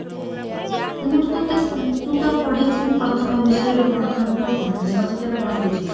ମୁଁ ତ ଟଟେ ତୁ ତ ପଢିଥିବୁ ପ୍ରଥମ ବିଷୟରୁ ଗଣତନ୍ତ୍ର କଣ ମୁଁ ଆଉ ତତେ କଣ ବୁଝେଇବି